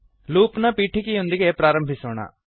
loop ನ ಪೀಠಿಕೆಯೊಂದಿಗೆ ಪ್ರಾರಂಭಿಸೋಣ